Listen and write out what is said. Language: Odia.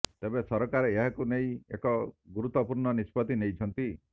ତେବେ ସରକାର ଏହାକୁ ନେଇ ଏକ ଗୁରୁତ୍ୱପୂର୍ଣ୍ଣ ନିଷ୍ପତ୍ତି ନେଇଛନ୍ତି